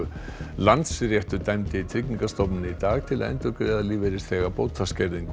Landsréttur dæmdi Tryggingastofnun í dag til að endurgreiða lífeyrisþega